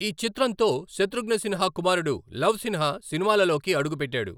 ఈ చిత్రంతో శతృఘ్న సిన్హా కుమారుడు లవ్ సిన్హా సినిమాలలోకి అడుగుపెట్టాడు.